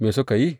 Me suka yi?